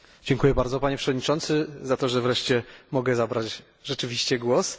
Dziękuję bardzo Panie Przewodniczący za to, że wreszcie mogę zabrać rzeczywiście głos.